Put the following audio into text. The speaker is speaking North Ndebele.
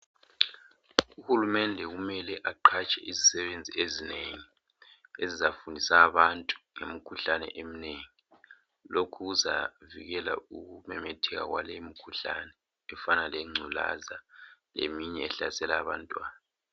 Uhulumende kumele aqhatshe izisebenzi ezinengi ezizafundisa abantu ngemikhuhlane eminengi. Lokhu kuzavikela ukumemetheka kwale imikhuhlane efana lengculaza leminye ehlasela abantwana.